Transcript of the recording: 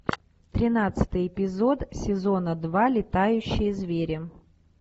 тринадцатый эпизод сезона два летающие звери